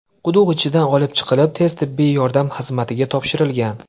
quduq ichidan olib chiqilib, tez-tibbiy yordam xizmatiga topshirilgan.